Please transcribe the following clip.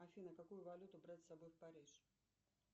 афина какую валюту брать с собой в париж